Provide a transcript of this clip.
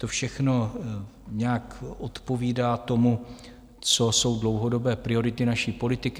To všechno nějak odpovídá tomu, co jsou dlouhodobé priority naší politiky.